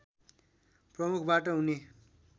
प्रमुखबाट हुने